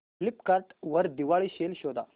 Flipkart वर Diwali sale शोधा